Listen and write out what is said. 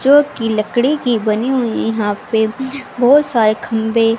चो की लकड़ी की बनी हुई यहां पे बहोत सारे खंभे--